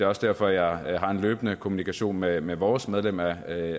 også derfor jeg har en løbende kommunikation med med vores medlem af